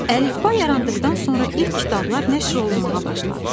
Əlifba yarandıqdan sonra ilk kitablar nəşr olunmağa başladı.